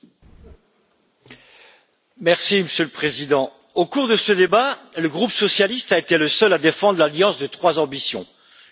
Monsieur le Président, au cours de ce débat, le groupe socialiste a été le seul à défendre l'alliance de trois ambitions climatique, industrielle et sociale.